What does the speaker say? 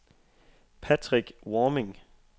Patrick Warming